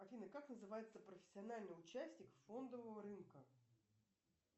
афина как называется профессиональный участник фондового рынка